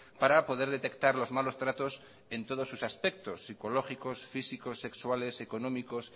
para poder detectar los malos tratos en todos sus aspectos psicológicos físicos sexuales económicos